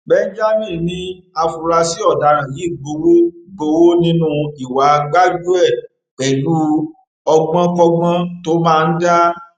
benjamin ní àfúráṣí ọdaràn yìí gbowó gbowó nínú ìwà gbájúẹ pẹlú ọgbọnkọgbọn tó máa ń dá